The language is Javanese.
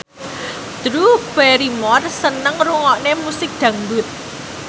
Drew Barrymore seneng ngrungokne musik dangdut